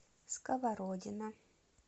сковородино